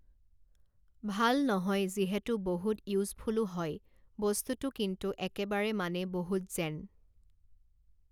ভাল নহয় যিহেতু বহুত ইউজফুলো হয় বস্তুটো কিন্তু একেবাৰে মানে বহুত যেন